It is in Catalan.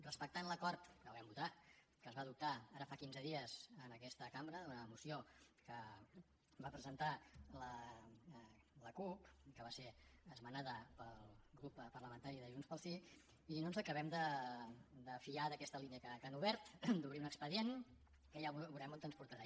respectant l’acord que el vam votar que es va adoptar ara fa quinze dies en aquesta cambra d’una moció que va presentar la cup i que va ser esmenada pel grup parlamentari de junts pel sí no ens acabem de fiar d’aquesta línia que han obert d’obrir un expedient que ja veurem on ens portarà